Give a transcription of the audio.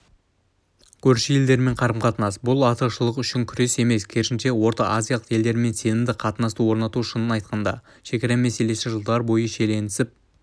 көрші елдермен қарым-қатынас бұл артықшылық үшін күрес емес керісінше орталықазиялық елдермен сенімді қатынасты орнату шынын айтқанда шекара мәселесі жылдар бойы шиеленісіп